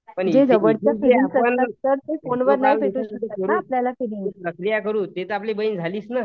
जे जवळचं फोनवर नाही भेटू शकत ना